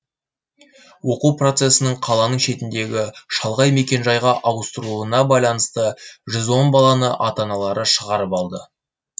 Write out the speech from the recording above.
оқу процесінің қаланың шетіндегі шалғай мекенжайға ауыстырылуына байланысты баланы ата аналары шығарып алды